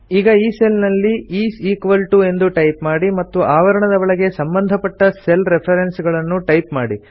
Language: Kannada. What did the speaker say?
ಈಗ ಈ ಸೆಲ್ ನಲ್ಲಿ ಇಸ್ ಇಕ್ವಾಲ್ ಟಿಒ ಎಂದು ಟೈಪ್ ಮಾಡಿ ಮತ್ತು ಆವರಣದ ಒಳಗೆ ಸಂಬಂಧಪಟ್ಟ ಸೆಲ್ ರೆಫೆರೆನ್ಸ್ ಗಳನ್ನು ಟೈಪ್ ಮಾಡಿ